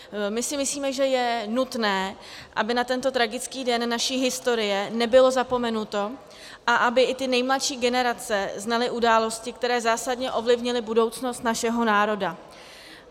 My si myslíme, že je nutné, aby na tento tragický den naší historie nebylo zapomenuto a aby i ty nejmladší generace znaly události, které zásadně ovlivnily budoucnost našeho národa.